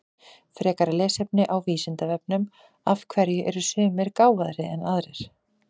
Frekara lesefni á Vísindavefnum Af hverju eru sumir gáfaðri en aðrir?